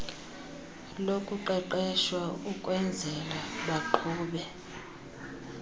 lokuqeqeshwa ukwenzelwa baqhube